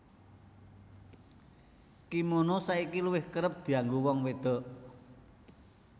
Kimono saiki luwih kerep dianggo wong wédok